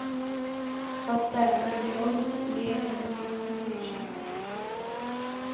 поставь в гардеробе теплее в одиннадцать вечера